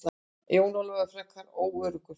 Jón Ólafur var orðinn frekar óöruggur.